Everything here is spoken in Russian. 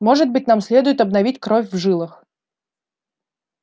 может быть нам следует обновить кровь в жилах